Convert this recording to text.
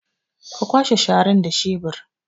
Ka kwashe sharan da shebur